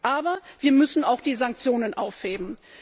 Aber wir müssen auch die Sanktionen aufheben.